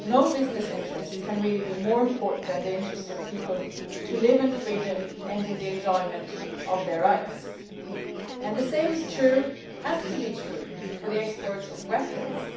No business interests can really be more important than the interest of people to live in freedom and in the enjoyment of their rights, and the same is true has to be true for the export of weapons.